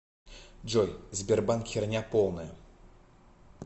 джой сбербанк херня полная